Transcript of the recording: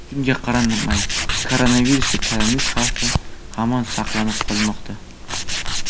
Shunga qaramay koronavirusga chalinish xavfi hamon saqlanib qolmoqda.